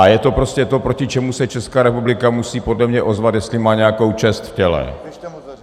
A je to prostě to, proti čemu se Česká republika musí podle mě ozvat, jestli má nějakou čest v těle.